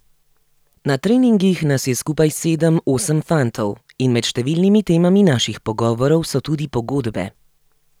Na treningih nas je skupaj sedem, osem fantov in med številnimi temami naših pogovorov so tudi pogodbe.